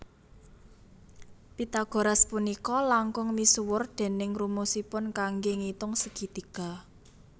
Pythagoras punika langkung misuwur déning rumusipun kanggé ngitung segi tiga